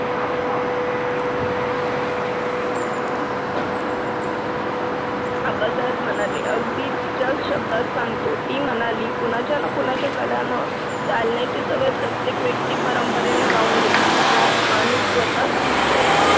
आबासाहेब म्हणाले पण तुमच्या शब्दात सांगतो. ती म्हणाली, कुणाच्या ना कुणाच्या कलांना चालण्याची सवय प्रत्येक व्यक्ती परंपरेने लावून घेते. माणूस स्वतः सुरेख